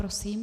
Prosím.